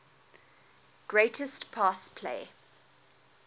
greatest pass play